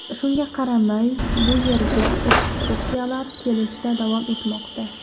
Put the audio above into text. Shunga qaramay, bu yerga ekskursiyalar kelishda davom etmoqda.